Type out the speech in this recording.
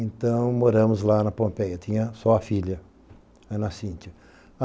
Então, moramos lá na Pompeia, tinha só a filha, a Ana Cíntia.